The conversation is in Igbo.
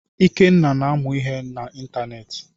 Ikenna na-amụ ihe na ịntanetị.